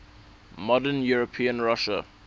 modern european russia